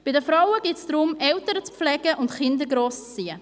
Bei den Frauen geht es darum, Eltern zu pflegen und Kinder grosszuziehen.